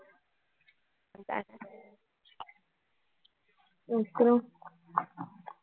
அதான அப்புறம்